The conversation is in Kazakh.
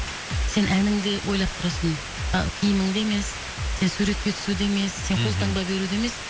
сен әніңді ойлап тұрасың а киіміңді емес сен суретке түсуді емес мхм сен қолтаңба беруді емес